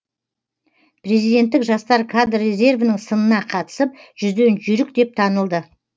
президенттік жастар кадр резервінің сынына қатысып жүзден жүйрік деп танылды